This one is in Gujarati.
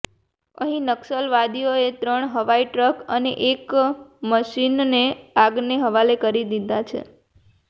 અહીં નક્સલવાદીઓએ ત્રણ હઈવા ટ્રક અને એક મશીનને આગને હવાલે કરી દીધા છે